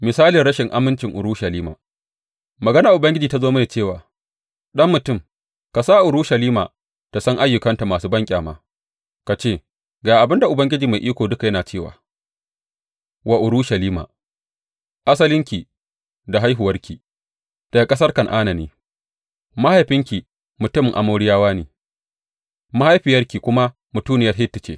Misalin rashin amincin Urushalima Maganar Ubangiji ta zo mini cewa, Ɗan mutum, ka sa Urushalima ta san ayyukanta masu banƙyama ka ce, Ga abin da Ubangiji Mai Iko Duka yana cewa wa Urushalima, Asalinki da haihuwarki daga ƙasar Kan’ana ne; mahaifinki mutumin Amoriyawa ne, mahaifiyarki kuma mutuniyar Hitti ce.